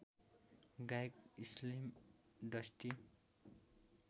गायक Slim dusty